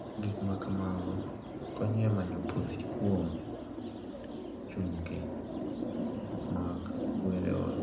Gik ma kamago konyo e manyo puoth kuom chunje mag kwerewa.